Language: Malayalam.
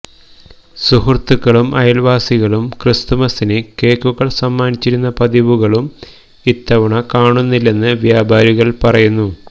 സുഹൃത്തുകൾക്കും അയൽവാസികൾക്കും ക്രിസ്മസിന് കേക്കുകൾ സമ്മാനിച്ചിരുന്ന പതിവുകളും ഇത്തവണ കാണുന്നില്ലെന്ന് വ്യാപാരികൾ പറയുന്നു